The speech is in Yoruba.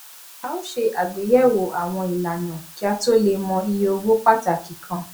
a ó ṣe àgbéyẹwò àwọn ìlànà kí a tó lè mọ iye owó pàtàkì kan